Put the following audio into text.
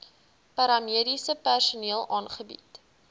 paramediese personeel aangebied